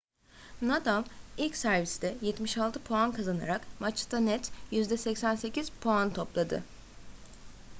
nadal ilk serviste 76 puan kazanarak maçta net %88 puan topladı